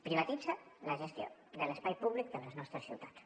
privatitza la gestió de l’espai públic de les nostres ciutats